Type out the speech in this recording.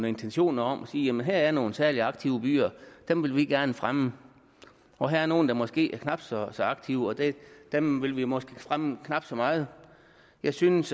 intentioner om at sige her er nogle særligt aktive byer dem vil vi gerne fremme og her er nogle der måske er knap så aktive dem vil vi måske fremme knap så meget jeg synes